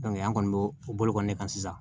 an kɔni b'o o bolo kɔni ne kan sisan